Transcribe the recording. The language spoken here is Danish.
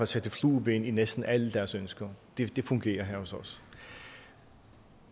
sætte flueben ved næsten alle deres ønsker det fungerer her hos os